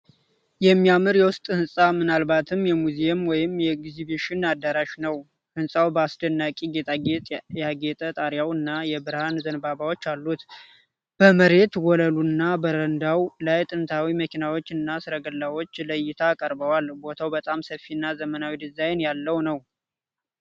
የሚያማምር የውስጥ ሕንፃ ፣ምናልባትም የሙዚየም ወይም የኤግዚቢሽን አዳራሽ ነው። ሕንፃው በአስደናቂ ጌጣጌጥ ያጌጠ ጣሪያና የብርሃን ዘንባባዎች አሉት። በመሬት ወለሉና በረንዳው ላይ ጥንታዊ መኪኖችና ሰረገላዎች ለእይታ ቀርበዋል። ቦታው በጣም ሰፊና ዘመናዊ ዲዛይን ያለው ነው።